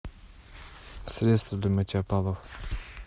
средство для мытья полов